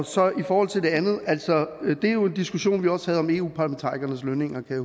så i forhold til det andet altså det er jo en diskussion vi også havde om eu parlamentarikernes lønninger kan